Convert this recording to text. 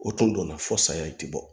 O tun donna fɔ saya in ti bɔ